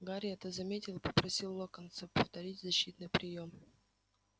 гарри это заметил и попросил локонса повторить защитный приём